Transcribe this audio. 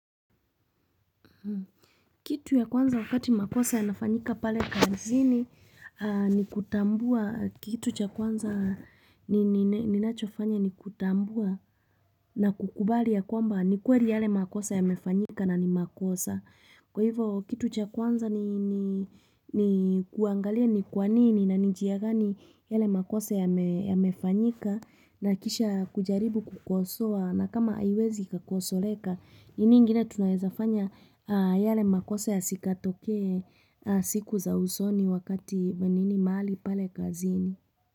Kitu ya kwanza wakati makosa yanafanyika pale kazini ni kutambua kitu cha kwanza ninachofanya ni kutambua na kukubali ya kwamba ni kweli yale makosa ya mefanyika na ni makosa. Kwa hivo kitu cha kwanza ni kuangalia ni kwanini na ni njia gani yale makosa yamefanyika na kisha kujaribu kukosoa na kama haiwezi kukosoleka, nini ingine tunaweza fanya yale makose yasitoke siku za usoni wakati mwingine mali pale kazini.